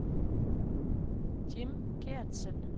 Jim Geertsen